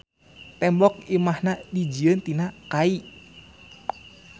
Tembok imahna dijieun tina kai.